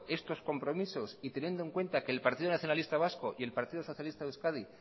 estos compromisos y teniendo en cuenta que el partido nacionalista vasco y el partido socialista de euskadi